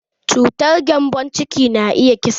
Cutar gembon ciki na iya kisa.